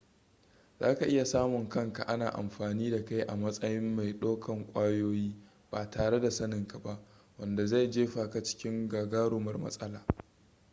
za ka iya samun kanka ana amfani da kai a matsayin mai dakon ƙwayoyi ba tare da saninka ba wanda zai jefa ka cikin gagarumar matsala